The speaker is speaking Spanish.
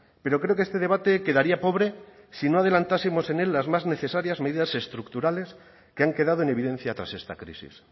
pero creo que este debate quedaría pobre si no adelantamos en él las más necesarias medidas estructurales que han quedado en evidencia tras esta crisis